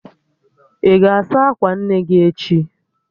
Ị ga-asa akwa nne gị echi?